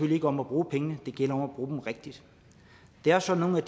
ikke om at bruge pengene det gælder om at bruge dem rigtigt det er sådan at